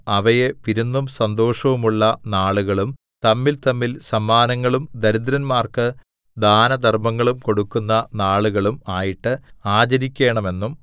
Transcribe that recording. അവയെ വിരുന്നും സന്തോഷവുമുള്ള നാളുകളും തമ്മിൽതമ്മിൽ സമ്മാനങ്ങളും ദരിദ്രന്മാർക്ക് ദാനധർമ്മങ്ങളും കൊടുക്കുന്ന നാളുകളും ആയിട്ട് ആചരിക്കേണമെന്നും